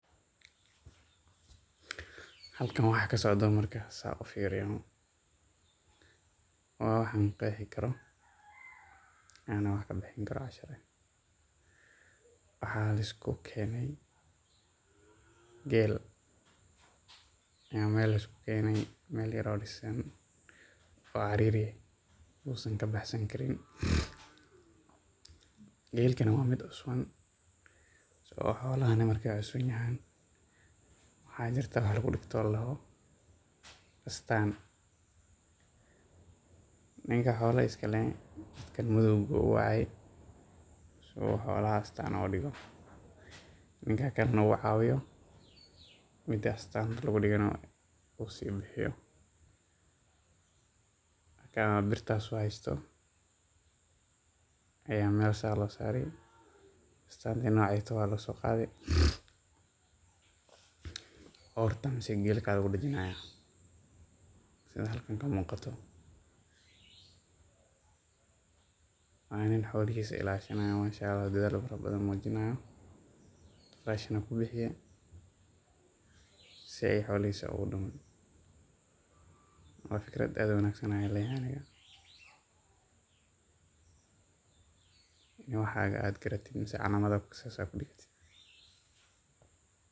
Halkaan waxaa ka socdo: markaan sidaas u fiiriyo waa wax aan qeexi karo oo ah waax laga bixinayo. Waxaa la isku keenay geel meel yar oo dhisan oo carar uu uga bixi karin. Geelkana waa mid cusub, xoolahana marka ay cusub yihiin maxaa jiraa? Waax lagu dhigo oo la yiraahdo astaan. Ninka xoolaha iska leh — ninkaan madowga ah — wuxuu rabaa in xoolahaas uu astaan ku dhigo. Ninkaan kalena waa cawiye. Midda astaanta lagu dhigana uu sii bixinayo. Ninkaan birtaas u hayo ayaa meel sidaas loogu saarayaa. Astaanta noocaas ah waxa laga soo qaaday ortada ama geeska ayaa lagu dajinayaa, sida halkaan ka muuqato. Waa in xoolahiisa la ilaaliyo — oo masha Allah dadaal badan muujinayo, qarashna ku bixiyay si uu xoolihiisa u dhumin. Waa fikrad aad u wanaagsan. Aniga ahaan, in aad waxagaas aad garatid ama calaamado aad ku dhigto .